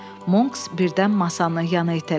Monks birdən masanı yana itələdi.